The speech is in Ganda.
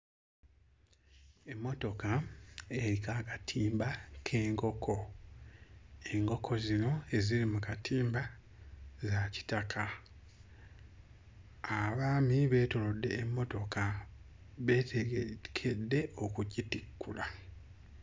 Emmotoka eriko akatimba k'enkoko. Enkoko zino eziri mu katimba za kitaka. Abaami beetoolodde emmotoka beetegekedde okugitikkula.